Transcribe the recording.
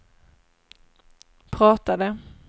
pratade